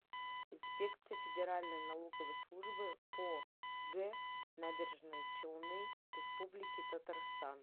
инспекция федеральной налоговой службы по г набережные челны республики татарстан